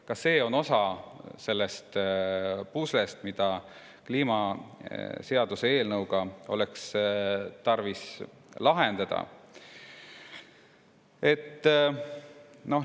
Ka see on osa sellest puslest, mis kliimaseadusega oleks tarvis lahendada.